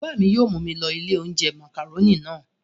Bàbá mi yóò mú mi lọ ilé-oúnjẹ màkàrónì náà.